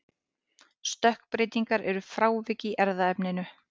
stökkbreytingar eru frávik í erfðaefninu